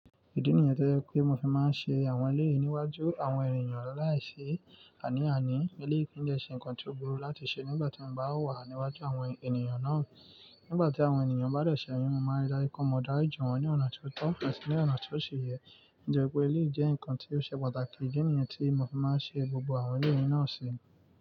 Ìdí nìyẹn tí jẹ pé mo fi máa ń ṣe àwọn eléyìí níwájú àwọn ènìyàn aláìsé àní àní. Elé kì i dẹ̀ ṣe nǹkan tí ó burú láti ṣe nígbà tí mo bá wà níwájú àwọn ènìyàn náà. Nígbà tí àwọn ènìyàn bá dẹ̀ sẹ̀ mí, mo máa rí dáju pé mó daríji wọn ní ọ̀nà tí ó tọ́, ati ní ọ̀nà tí ó sí yẹ. Nítorí pé eléyìí jẹ́ nǹkan tí ó ṣe pàtàkì, Idi nìyẹn tí mo fi máa ń ṣe gbogbo àwọn eléyìí náà ṣe.